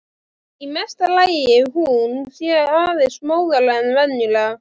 Í mesta lagi hún sé aðeins móðari en venjulega.